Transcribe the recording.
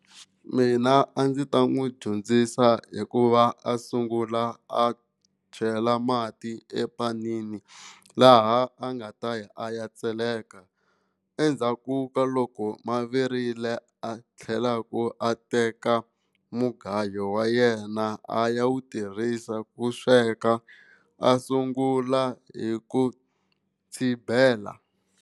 Mina a ndzi ta n'wi dyondzisa hikuva a sungula a chela mati epanini laha a nga ta ya a ya tseleka endzhaku ka loko mavirile a tlhelaku a teka mugayo wa yena a ya wu tirhisa ku sweka a sungula hi ku tshibela.